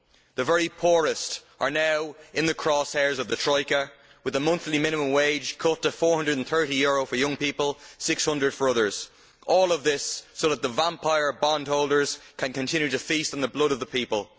The very poorest are now in the crosshairs of the troika', with the monthly minimum wage cut to EUR 430 for young people and EUR 600 for others all of this so that the vampire bondholders can continue to feast on the blood of the people.